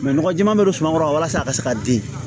nɔgɔ jɛman bɛ don suman kɔrɔ walasa a ka se ka den